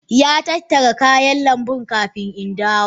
Ya tattara kayan lambu kafin in dawo.